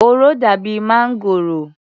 Òro dàbi máǹgòrò.